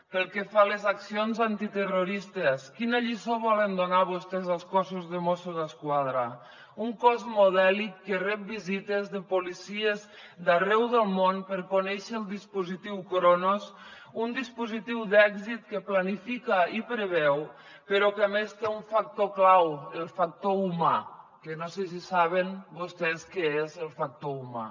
pel que fa a les accions antiterroristes quina lliçó volen donar vostès al cos de mossos d’esquadra un cos modèlic que rep visites de policies d’arreu del món per conèixer el dispositiu cronos un dispositiu d’èxit que planifica i preveu però que a més té un factor clau el factor humà que no sé si saben vostès què és el factor humà